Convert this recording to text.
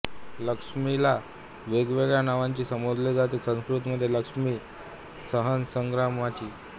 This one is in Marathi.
लक्ष्मीला वेगवेगळ्या नावांनी संबोधले जाते संस्कृत मध्ये लक्ष्मीसहस्रनामांची